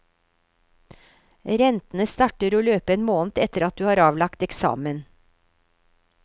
Rentene starter å løpe en måned etter at du har avlagt eksamen.